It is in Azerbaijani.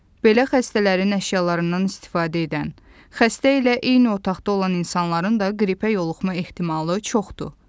Belə xəstələrin əşyalarından istifadə edən, xəstə ilə eyni otaqda olan insanların da qripə yoluxma ehtimalı çoxdur.